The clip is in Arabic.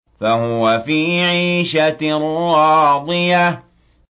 فَهُوَ فِي عِيشَةٍ رَّاضِيَةٍ